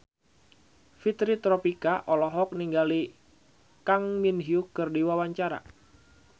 Fitri Tropika olohok ningali Kang Min Hyuk keur diwawancara